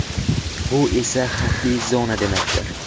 Bu esa xavfli zona demakdir.